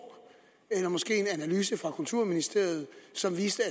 eller måske en analyse fra kulturministeriet som viste